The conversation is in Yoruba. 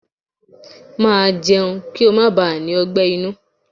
Màá jẹun kí ó má baà ní ọgbẹ́ inú!